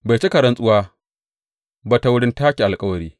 Bai cika rantsuwa ba ta wurin take alkawari.